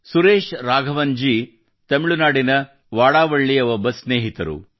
ಸುರೇಶ್ ರಾಘವನ್ ಜಿ ತಮಿಳುನಾಡಿನ ವಡವಳ್ಳಿಯ ಒಬ್ಬ ಸ್ನೇಹಿತರು